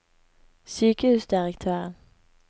sykehusdirektøren